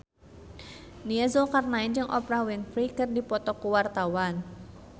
Nia Zulkarnaen jeung Oprah Winfrey keur dipoto ku wartawan